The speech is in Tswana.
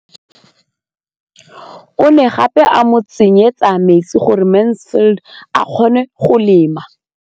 O ne gape a mo tsenyetsa metsi gore Mansfield a kgone go lema.